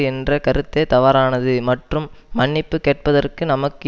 என்ற கருத்தே தவறானது மற்றும் மன்னிப்பு கேட்பதற்கு நமக்கு